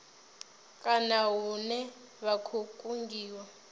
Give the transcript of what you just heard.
kana hune vha khou kungiwa